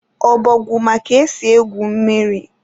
Obọgwụ ma ka esi egwu mmiri